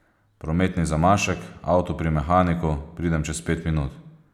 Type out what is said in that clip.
Prometni zamašek, avto pri mehaniku, pridem čez pet minut?